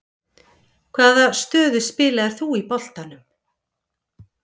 Hvaða stöðu spilaðir þú í boltanum?